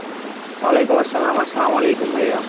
ওয়ালাইকুম আসসালাম, আসসালাম আলাইকুম ভাইয়া।